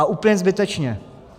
A úplně zbytečně!